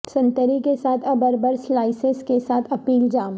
سنتری کے ساتھ ابربر سلائسس کے ساتھ ایپل جام